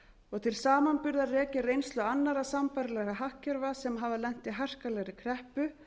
og til samanburðar rekja reynslu annarra sambærilegra hagkerfa sem hafa lent í harkalegri kreppu